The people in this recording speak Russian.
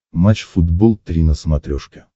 матч футбол три на смотрешке